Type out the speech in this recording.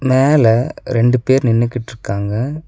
மேல ரெண்டு பேர் நின்னுக்குட்டு இருக்காங்க.